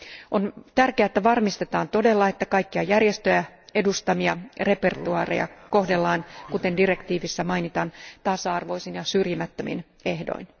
On tärkeää, että varmistetaan todella, että kaikkia järjestöjen edustamia repertuaareja kohdellaan, kuten direktiivissä mainitaan, tasa arvoisin ja syrjimättömin ehdoin.